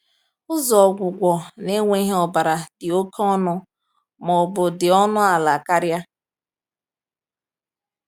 Ụzọ ọgwụgwọ na-enweghị ọbara dị oke ọnụ ma ọ bụ dị ọnụ ala karịa?